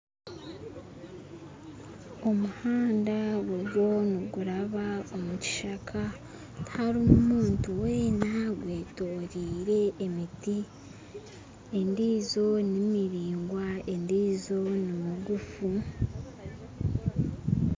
Omuhanda guriyo niguraba omu kishaka tiharimu muntu wena gwetorire emiti endijo nimiringwa endijo nimigufu